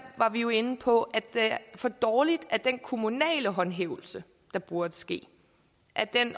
var vi jo inde på at det er for dårligt at den kommunale håndhævelse der burde ske